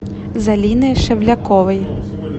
залины шевляковой